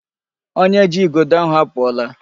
Onye ji igodo ahụ apụọla.